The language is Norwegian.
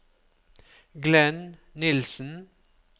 Glenn Nilssen